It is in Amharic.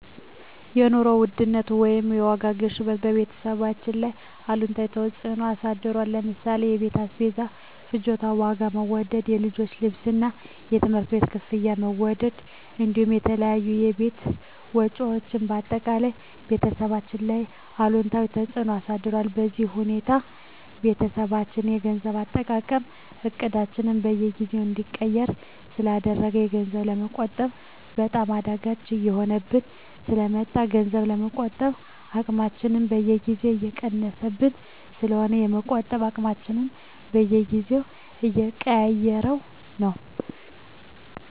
የኑሮ ውድነት ወይም የዋጋ ግሽበት በቤተሰባችን ላይ አሉታዊ ተፅዕኖ አሳድሮብናል ለምሳሌ የቤት አስቤዛ ፍጆታ ዋጋ መወደድ፣ የልጆች ልብስና የትምህርት ቤት ክፍያ መወደድ እንዲሁም የተለያዩ የቤት ወጪዎች በአጠቃላይ ቤተሰባችን ላይ አሉታዊ ተፅዕኖ አሳድሮብናል። በዚህ ሁኔታ የቤተሰባችን የገንዘብ አጠቃቀም እቅዳችንን በየጊዜው እንዲቀየር ስላደረገው ገንዘብ ለመቆጠብ በጣም አዳጋች እየሆነብን ስለ መጣ ገንዘብ የመቆጠብ አቅማችን በየጊዜው እየቀነሰብን ስለሆነ የመቆጠብ አቅማችንን በየጊዜው እየቀያየረው ነው።